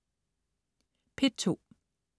P2: